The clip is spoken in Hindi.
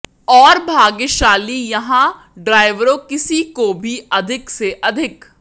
और भाग्यशाली यहाँ ड्राइवरों किसी को भी अधिक से अधिक